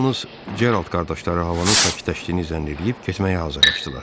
Yalnız Gerald qardaşları havanın sakitləşdiyini zənn eləyib getməyə hazırlaşdılar.